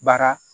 Baara